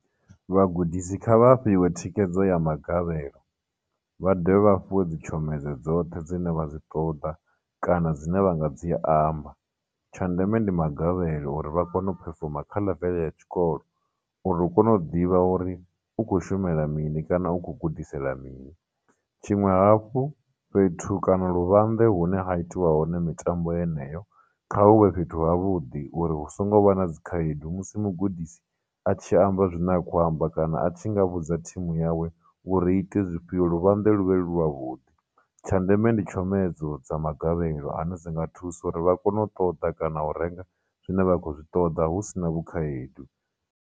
Vhagudisi kha vha fhiwe thikhedzo ya magavhelo, vha dovhe vha fhiwe dzitshomedzo dzoṱhe dzine vha dzi ṱoḓa, kana dzine vha nga dzi amba. Tsha ndeme ndi magavhelo uri vha kone u phefoma kha level ya tshikolo uri hu kone u ḓivha uri u khou shumela mini kana u khou gudisela mini, tshiṅwe hafhu fhethu kana luvhanḓe hune ha itiwa hone mitambo yeneyo, kha huvhe fhethu havhuḓi uri hu songo vha na dzikhaedu musi mugudisi a tshi amba zwine a kho amba, kana a tshi nga vhudza team yawe uri i ite zwifhio, luvhanḓe lu vhe lu lwa vhudi. Tsha ndeme ndi tshomedzo dza magavhelo ane dzi nga thusa uri vha kone u ṱoḓa kana u renga zwine vha khou zwi ṱoḓa husinavho khaedu.